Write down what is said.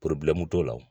t'o la